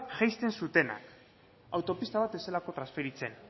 jaisten zutenak autopista bat ez zelako transferitzen